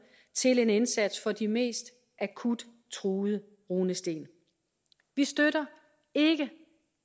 til en indsats for de mest akut truede runesten vi støtter ikke